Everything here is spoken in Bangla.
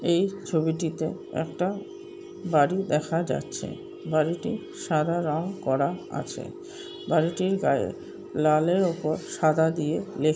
এই ছবিটিতে একটা বাড়ি দেখা যাচ্ছে বাড়িতে সাদা রং করা আছে বাড়িটির গায়ে লালের ওপর সাদা দিয়ে লে--